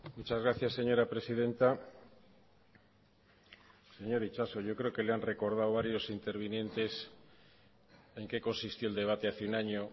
muchas gracias señora presidenta señor itxaso yo creo que le han recordado varios intervinientes en qué consistió el debate hace un año